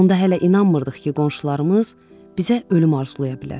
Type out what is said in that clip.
Onda hələ inanmırdıq ki, qonşularımız bizə ölüm arzulaya bilər.